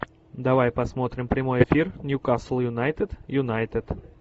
давай посмотрим прямой эфир ньюкасл юнайтед юнайтед